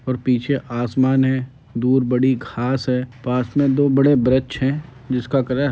और पीछे आसमान है। दूर बड़ी घास है। पास मे दो बड़े वृक्ष है जिसका कलर --